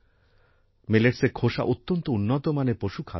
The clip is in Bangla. মিলেটসের খোসা অত্যন্ত উন্নত মানের পশুখাদ্য